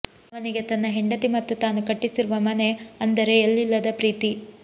ಅವನಿಗೆ ತನ್ನ ಹೆಂಡತಿ ಮತ್ತು ತಾನು ಕಟ್ಟಿಸಿರುವ ಮನೆ ಅಂದರೆ ಎಲ್ಲಿಲ್ಲದ ಪ್ರೀತಿ